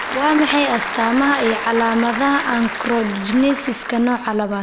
Waa maxay astamaha iyo calaamadaha Achondrogenesiska nooca labad?